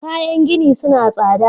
Kayan gini suna tsada.